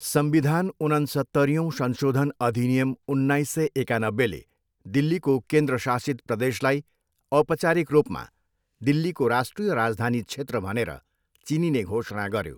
संविधान, उनन्सत्तरीऔँ संशोधन, अधिनियम, उन्नाइस सय एकानब्बेले दिल्लीको केन्द्र शासित प्रदेशलाई औपचारिक रूपमा दिल्लीको राष्ट्रिय राजधानी क्षेत्र भनेर चिनिने घोषणा गर्यो।